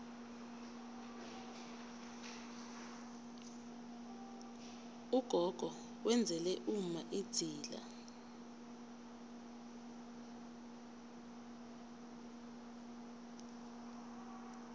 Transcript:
ugogo wenzela umma idzila